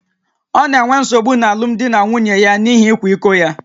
Ọ na-enwe nsogbu n’alụmdi na nwunye ya n’ihi ịkwa iko ya